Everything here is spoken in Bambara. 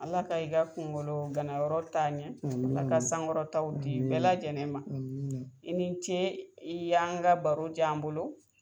Ala ka i ka kunkolo ganayɔrɔ t'a ɲɛ amin amin ala ka sankɔrɔta'w di bɛɛ lajɛlen ma amina i ni ce i y'an ka baro j'an bolo